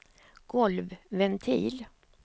golvventil